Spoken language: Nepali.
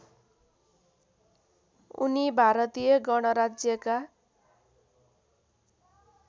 उनी भारतीय गणराज्यका